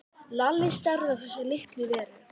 Lalli starði á þessa litlu veru.